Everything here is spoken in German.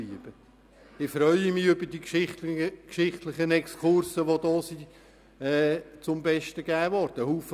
Ich freue mich über die geschichtlichen Exkurse, die hier zum Besten gegeben worden sind.